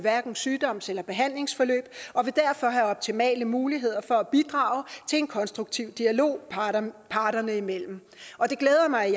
sygdoms eller behandlingsforløb og vil derfor have optimale muligheder for at bidrage til en konstruktiv dialog parterne parterne imellem og det glæder mig